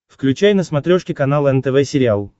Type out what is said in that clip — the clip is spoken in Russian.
включай на смотрешке канал нтв сериал